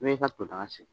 N'y'e ka to daga sigi